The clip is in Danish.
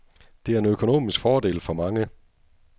Det er en økonomisk fordel for mange.